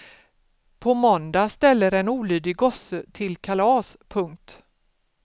På måndag ställer en olydig gosse till kalas. punkt